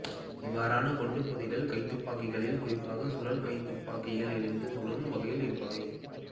இவ்வாறான குண்டுபொதிகள் கைத்துப்பாக்கிகளில் குறிப்பாக சுழல் கைத்துப்பாக்கியில் இருந்து சுடும் வகையில் இருப்பவை